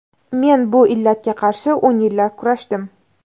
Men bu illatga qarshi o‘n yillar kurashdim.